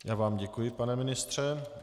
Já vám děkuji, pane ministře.